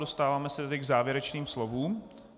Dostáváme se tedy k závěrečným slovům.